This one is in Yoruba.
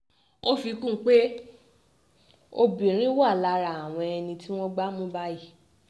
ó fi kún un pé obìnrin wà lára àwọn ẹni tí wọ́n gbá mú báyìí